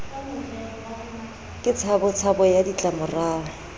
ke tshabo tshabo ya ditlamorao